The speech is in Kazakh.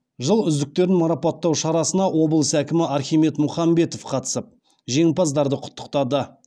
жыл үздіктерін марапаттау шарасына облыс әкімі архимед мұхамбетов қатысып жеңімпаздарды құттықтады